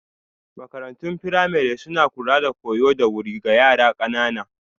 Makarantun firamare suna kula da koyo da wuri ga yara ƙanana